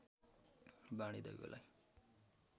वाणी दैवलाई